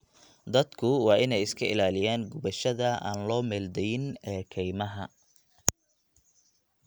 Dadku waa inay iska ilaaliyaan gubashada aan loo meel dayin ee kaymaha.